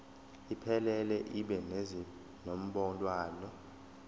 iphelele ibe nezinombolwana